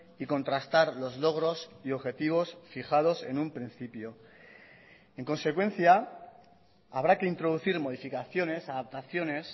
y contrastar los logros y objetivos fijados en un principio en consecuencia habrá que introducir modificaciones adaptaciones